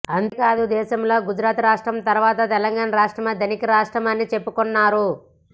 అంతే కాదు దేశంలో గుజరాత్ రాష్ట్రం తరువాత తెలంగాణా రాష్ట్రమే ధనిక రాష్ట్రమని చెప్పుకొన్నారు